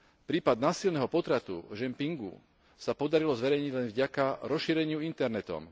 Prípad násilného potratu v Čen pchingu sa podarilo zverejniť len vďaka rozšíreniu internetom.